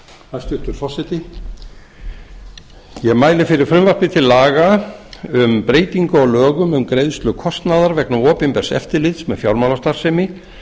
hæstvirtur forseti ég mæli fyrir frumvarpi til laga um breytingu á lögum um greiðslu kostnaðar vegna opinbers eftirlits með fjármálastarfsemi